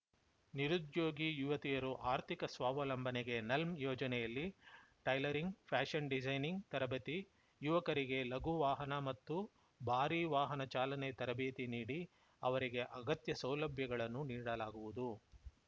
ನಿರುದ್ಯೋಗಿ ಯುವತಿಯರು ಆರ್ಥಿಕ ಸ್ವಾವಲಂಬನೆಗೆ ನಲ್ಮ್‌ ಯೋಜನೆಯಲ್ಲಿ ಟೈಲರಿಂಗ್‌ ಪ್ಯಾಷನ್‌ ಡಿಸೈನಿಂಗ್‌ ತರಬೇತಿ ಯುವಕರಿಗೆ ಲಘುವಾಹನ ಮತ್ತು ಭಾರಿ ವಾಹನ ಚಾಲನೆ ತರಬೇತಿ ನೀಡಿ ಅವರಿಗೆ ಅಗತ್ಯ ಸೌಲಭ್ಯಗಳನ್ನು ನೀಡಲಾಗುವುದು